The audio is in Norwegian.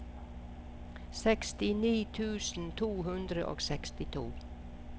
sekstini tusen to hundre og sekstito